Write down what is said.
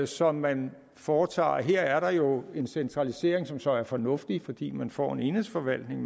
som man foretager og her er der jo en centralisering som så er fornuftig fordi man får en enhedsforvaltning